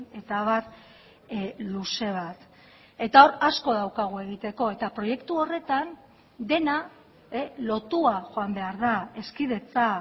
eta abar luze bat eta hor asko daukagu egiteko eta proiektu horretan dena lotua joan behar da hezkidetza